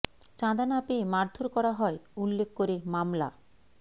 চাঁদা না পেয়ে মারধর করা হয় উল্লেখ করে মামলা